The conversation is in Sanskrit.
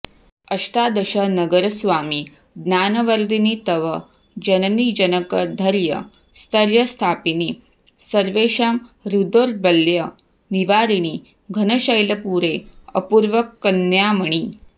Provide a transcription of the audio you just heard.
अष्टादश नगरस्वामि ज्ञानवर्धिनि तव जननीजनक धैर्य स्थैर्य स्थापिनि सर्वेषां हृद्दौर्बल्य निवारिणि घनशैलपुरे अपूर्वकन्यामणि